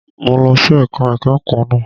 Mo lọ sí ẹ̀ka ìkẹ́kọ̀ọ́ náà.